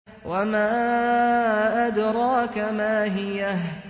وَمَا أَدْرَاكَ مَا هِيَهْ